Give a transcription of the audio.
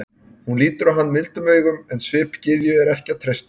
Hún lítur á hann mildum augum, en svip gyðju er ekki að treysta.